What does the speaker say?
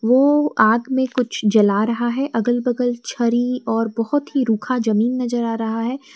वो आग में कुछ जला रहा है अगल बगल छरी और बहुत ही रुखा जमीन नजर आ रहा है।